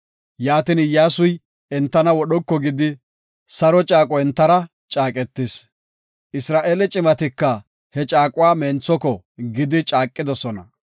Yaatin, Iyyasuy hintena wodhoko gidi saro caaqo entara caaqetis. Isra7eele cimatika he caaquwa menthoko gidi caaqidosona.